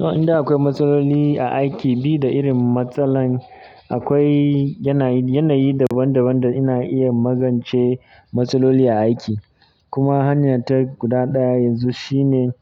To, idan akwai matsaloli a aiki bi da irin matsalan akwai yanayi, yanayi daban daban da ina iya magance matsaloli a aiki. Kuma hanyata guda ɗaya yanzu shine